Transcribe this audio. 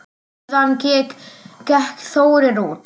Síðan gekk Þórir út.